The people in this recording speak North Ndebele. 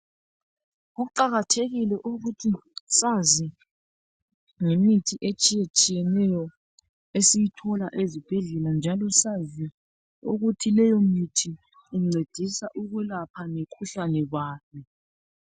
Kuqakathekile ukuthi sazi ngemithi etshiye tshiyeneyo esiyithola ezibhedlela njalosazi ukuthi leyo mithi ingcedisa ukwelapha imikhuhlani bani